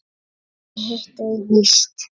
Ég hitti þig víst!